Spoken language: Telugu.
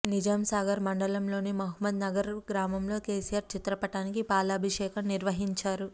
నిజాంసాగర్ మండలంలోని మహమ్మద్ నగర్ గ్రామంలో కేసీఆర్ చిత్రపటానికి పాలభిషేకం నిర్వహించారు